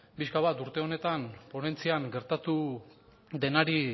pixka bat urte honetan ponentzian gertatu denari